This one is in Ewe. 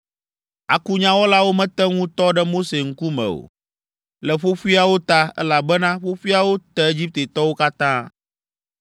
Akunyawɔlawo mete ŋu tɔ ɖe Mose ŋkume o, le ƒoƒoeawo ta, elabena ƒoƒoeawo te Egiptetɔwo katã.